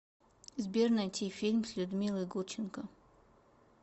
сбер найти фильм с людмилой гурченко